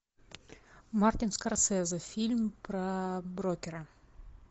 мартин скорсезе фильм про брокера